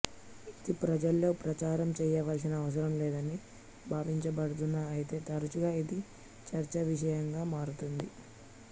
ఇది ప్రజల్లో ప్రచారం చేయవలసిన అవసరం లేదని భావించబడుతున్న అయితే తరచుగా ఇది చర్చా విషయంగా మారుతుంది